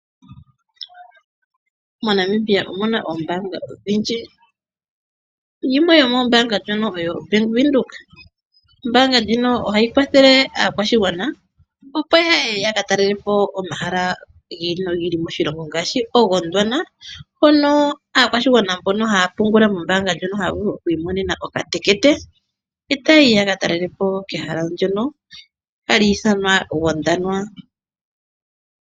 MoNamibia omuna oombaanga odhindji, yimwe yomoombaanga oyo Bank Windhoek. Ombaanga ndjino ohayi kwathele aakwashigwana opo yaye yaka talelepo omahala gi ili nogi ili moshilongo ngaashi ko Gondwana hono aakwashigwana mbono haya pungula mombaanga ndjono haya vulu okwii monena okatekete etayi aka talelepo kehala ndyono hali ithanwa Gondwana.